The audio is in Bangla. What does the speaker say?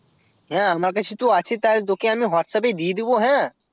হ্যাঁ আমার কাছে তো আছে তা তোকে আমি whatsapp এ দিয়ে দেব হ্যাঁ